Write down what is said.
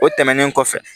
O tɛmɛnen kɔfɛ